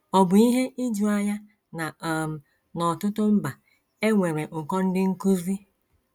Ọ̀ bụ ihe ijuanya na um n’ọtụtụ mba e nwere ụkọ ndị nkụzi?